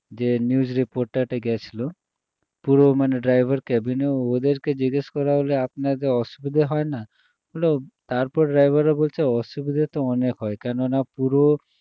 যে news reporter টি গেছিলো পুরো মানে driver cabin এ ওদেরকে জিজ্ঞেস করা হলো আপনাদের অসুবিধা হয় না ওরা তারপরে driver রা বলছে অসুবিধা তো অনেক হয় কেননা পুরো